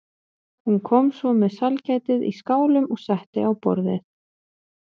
Hún kom svo með sælgætið í skálum og setti á borðið.